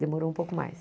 Demorou um pouco mais.